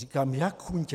Říkám: Jak chuntě?